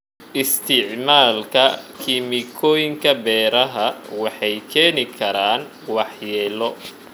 Isticmaalka kiimikooyinka beeraha waxay keeni karaan waxyeelo.